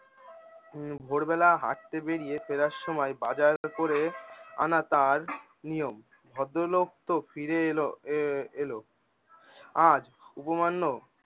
উম ভোরবেলা হাঁটতে বেরিয়ে ফেড়ার সময় বাজার করে আনা তার নিয়ম। ভদ্রলোক তো ফিরে এলো এ এলো। আর উপমান্য